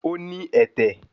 Ó ní ẹ̀tẹ̀